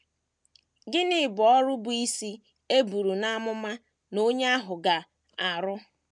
Gịnị bụ ọrụ bụ́ isi e buru n’amụma na onye ahụ ga - arụ?